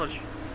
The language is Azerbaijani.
Nə olar ki?